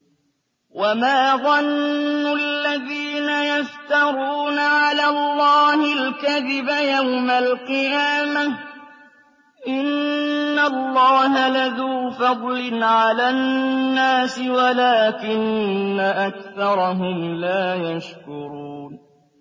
وَمَا ظَنُّ الَّذِينَ يَفْتَرُونَ عَلَى اللَّهِ الْكَذِبَ يَوْمَ الْقِيَامَةِ ۗ إِنَّ اللَّهَ لَذُو فَضْلٍ عَلَى النَّاسِ وَلَٰكِنَّ أَكْثَرَهُمْ لَا يَشْكُرُونَ